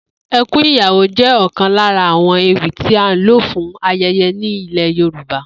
E̩kún Ìyàwó jé̩ ò̩kan lára àwo̩n ewì tí á ń lò fún aye̩ye̩ ní ilè̩ Yorùba